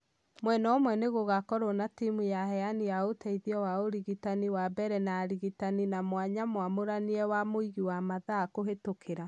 Mwena ũmwe nĩ gũgakorwo na temu ya aheani a ũteithio wa urigitani wa mbere na arigitani na mwanya mwamũranie wa mũigi wa mathaa kũhĩtũkira.